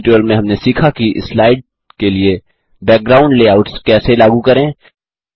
इस ट्यूटोरियल में हमने सीखा कि स्लाइड के लिए बैकग्राउंड लेआउट्स कैसे लागू करें